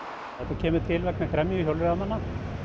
kemur til vegna gremju hjólreiðamanna